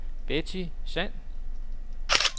Betty Sand